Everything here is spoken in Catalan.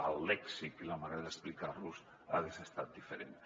el lèxic i la manera d’explicar·los haguessin estat diferents